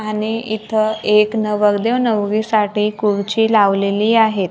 आणि इथं एक नवरदेव नवरीसाठी कुर्ची लावलेली आहेत.